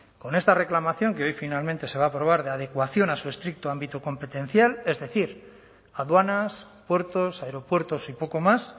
con esta reclamación que hoy finalmente se va a aprobar de adecuación a su estricto ámbito competencial es decir aduanas puertos aeropuertos y poco más